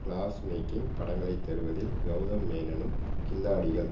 class making படங்களை தருவதில் கெளதம் மேனனும் கில்லாடிகள்